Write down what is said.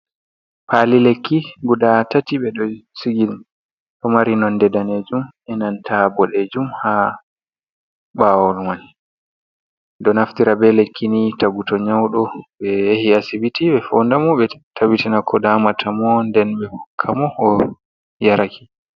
Pali lekki guda tati ɓeɗo shigi ɗo mari nonde danejum e nanta bodejum, ha ɓawo mani ɗo naftira be lekki ni to godɗo nyaudo ɓe yahi acibiti ɓe fondamo ɓe tabitina ko damata mo nden ɓe hokka mo o yaraki.